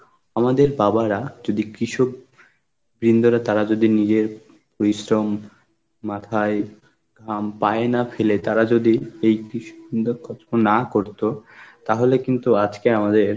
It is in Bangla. আমাদের বাবারা যদি কৃষক বৃন্দরে তারা যদি নিজের পরিশ্রম মাথায় ঘাম পায় না ফেলে তারা যদি এই কিস না করতো তাহলে কিন্তু আজকে আমাদের